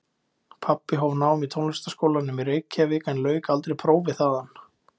Pabbi hóf nám í Tónlistarskólanum í Reykjavík en lauk aldrei prófi þaðan.